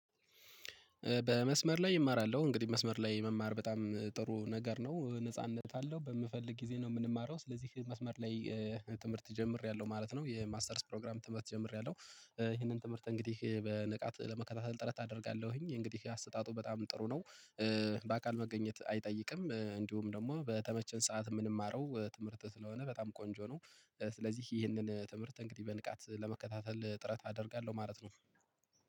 በመስመር ላይ እማራለሁ እንግዲህ መስመር ላይ መማር በጣም ጥሩ ነገር ነው ነጻነት አለው በምፈልግ ጊዜ ነው የምንማረው ስለዚህ መስመር ላይ ትምህርት ጀምሬያለሁ ማለት ነው። የማስተርስ ፕሮግራም ትምህርት ጀምሬያለሁ ይሄንን ትምህርት እንግዲህ በንቃት ለመከታተል ጥረት አደርጋለሁኝ እንግዲህ አሰጣጡ በጣም ጥሩ ነው። በአካል መገኘት አይጠይቅም እንዲሁም ደግሞ በተመቸን ሰዓት የምንማረው ትምህርት ስለሆነ በጣም ቆንጆ ነው። ስለዚህ ይህንን ትምህርት እንግዲህ በንቃት ለመከታተል ጥረት አደርጋለሁ ማለት ነው